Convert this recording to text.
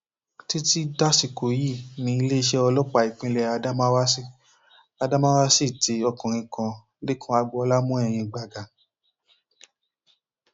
títí dasìkò yìí ni iléeṣẹ ọlọpàá ìpínlẹ adamawa sì adamawa sì ti ọkùnrin kan lẹkàn agboola mọ ẹyìn gbàgà